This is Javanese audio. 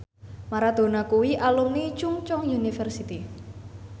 Maradona kuwi alumni Chungceong University